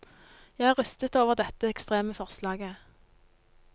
Jeg er rystet over dette ekstreme forslaget.